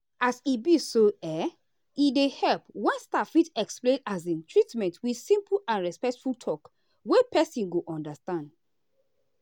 as he be so um e dey help when staff fit explain um treatment with simple and respectful talk wey person go understand.